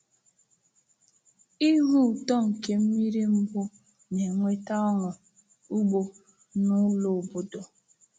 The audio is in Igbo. Ihu ụtọ nke mmiri mbu na-eweta ọṅụ ugbo n’ụlọ obodo.